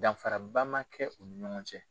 Danfaraba ma kɛ u ni ɲɔgɔn cɛ.